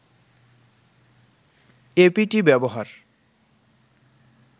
apt ব্যবহার